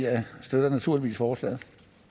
støtter naturligvis forslaget